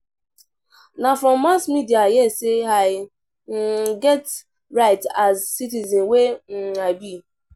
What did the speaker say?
Na from mass media I hear sey I um get right as citizen wey I um be.